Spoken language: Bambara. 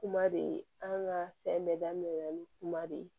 Kuma de an ka fɛn bɛɛ daminɛ na ni kuma de ye